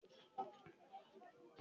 Bẹ́ẹ̀ni, ìwọ̀n ìgbàlódé ni mo fi ń wọn.